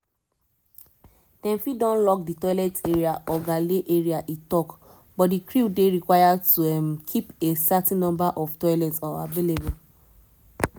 one qantas tok-tok pesin say: "na di operating airline dey manage di process to handle dis kain incidents wey in dis case be qatar airways."